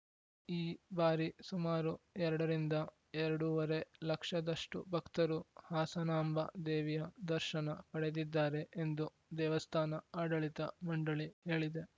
ಈ ಬಾರಿ ಸುಮಾರು ಎರಡರಿಂದ ಎರಡು ವರೇ ಲಕ್ಷದಷ್ಟು ಭಕ್ತರು ಹಾಸನಾಂಬ ದೇವಿಯ ದರ್ಶನ ಪಡೆದಿದ್ದಾರೆ ಎಂದು ದೇವಸ್ಥಾನ ಆಡಳಿತ ಮಂಡಳಿ ಹೇಳಿದೆ